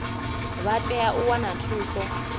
vha tea u wana thuso